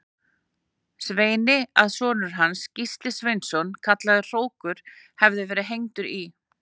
Sveini að sonur hans, Gísli Sveinsson kallaður hrókur, hefði verið hengdur í